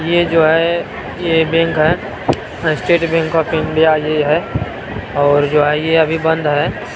ये जो है ये बैंक है स्टेट बैंक ऑफ इंडिया ये है और जो है ये अभी बन्द है।